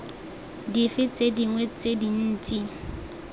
dife tse dingwe tse dintsi